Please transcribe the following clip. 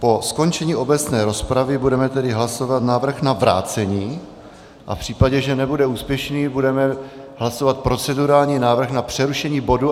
Po skončení obecné rozpravy budeme tedy hlasovat návrh na vrácení a v případě, že nebude úspěšný, budeme hlasovat procedurální návrh na přerušení bodu.